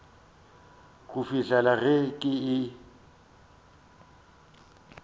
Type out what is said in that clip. go fihlela ge ke e